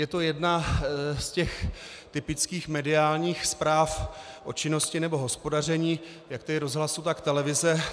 Je to jedna z těch typických mediálních zpráv o činnosti nebo hospodaření jak tedy rozhlasu, tak televize.